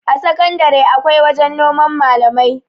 a sakandare akwai wajen noman malamai